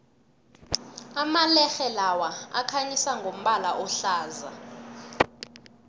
amalerhe lawa akhanyisa ngombala ohlaza